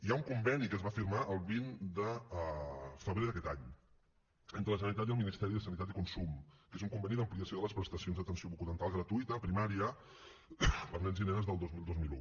hi ha un conveni que es va firmar el vint de febrer d’aquest any entre la generalitat i el ministeri de sanitat i consum que és un conveni d’ampliació de les prestacions d’atenció bucodental gratuïta a primària per a nens i nenes del dos mil dos mil un